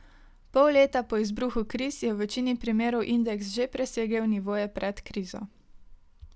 Pol leta po izbruhu kriz je v večini primerov indeks že presegel nivoje pred krizo.